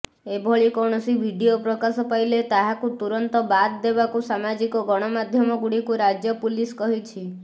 ଏଭଳି କୌଣସି ଭିଡିଓ ପ୍ରକାଶ ପାଇଲେ ତାହାକୁ ତୁରନ୍ତ ବାଦ୍ ଦେବାକୁ ସାମାଜିକ ଗଣମାଧ୍ୟମଗୁଡିକୁ ରାଜ୍ୟ ପୁଲିସ କହିଛି